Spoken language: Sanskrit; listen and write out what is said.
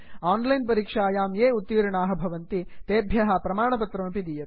आन् लैन् परीक्षायां ये उत्तीर्णाः भवन्ति तेभ्यः प्रमाणपत्रमपि दीयते